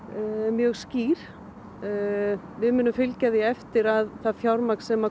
mjög skýr við munum fylgja því eftir að það fjármagn sem